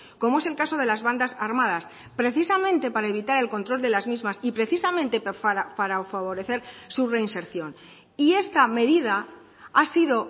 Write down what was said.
como es el caso de las bandas armadas precisamente para evitar el control de las mismas y precisamente para favorecer su reinserción y esta medida ha sido